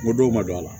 N ko dɔw ma don a la